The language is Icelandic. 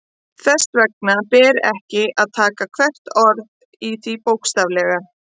Þess vegna ber ekki að taka hvert orð í því bókstaflega.